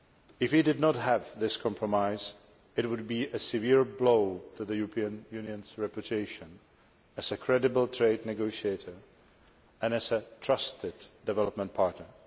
If we did not have this compromise, it would be a severe blow to the European Union's reputation as a credible trade negotiator and as a trusted development partner.